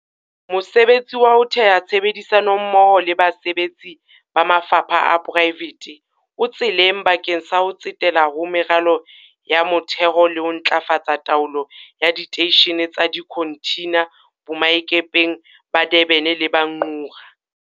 Mosebetsi wa ho theha tshebedisano mmoho le basebetsi ba mafapha a poraefete o tseleng bakeng sa ho tsetela ho meralo ya motheho le ho ntlafatsa taolo ya diteishene tsa dikhonthina boemakepeng ba Durban le ba Ngqura.